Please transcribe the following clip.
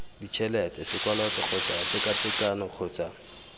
ditšhelete sekoloto kgotsa tekatekano kgotsa